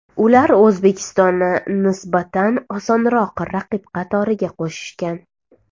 Ular O‘zbekistonni nisbatan osonroq raqib qatoriga qo‘shishgan.